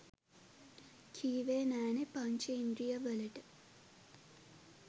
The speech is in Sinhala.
කීවෙ නෑනෙ පංච ඉන්ද්‍රීය වලට